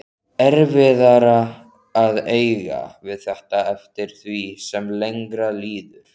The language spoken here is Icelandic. Erfiðara að eiga við þetta eftir því sem lengra líður.